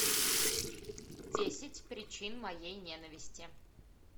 десять причин моей ненависти